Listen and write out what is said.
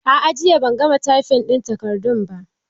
A'a jiya ban gama taifin ɗin takardun ba.